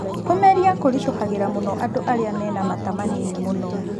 Kũmeria kũritũhagĩra mũno andũ arĩa mena mata manini mũno